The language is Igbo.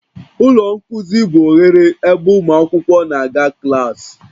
Ụlọ nkuzi bụ oghere ebe ụmụ akwụkwọ na-aga klaasị